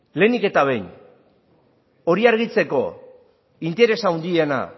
lehenik eta behin hori argitzeko interesa handiena